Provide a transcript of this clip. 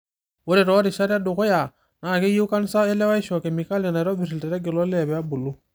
Ore toorishat edukuya, naa keyieu kansa olewaisho kemikali naitobirr ilterege lolee pee ebulu.